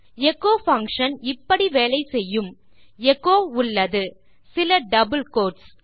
echo function இப்படி வேலை செய்யும் எச்சோ உள்ளது சில டபிள் கோட்ஸ்